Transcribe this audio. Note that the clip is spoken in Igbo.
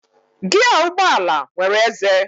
Giaa ụgbọala nwere ézé.